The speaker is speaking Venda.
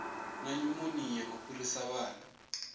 na nyumonia u fhirisa vhana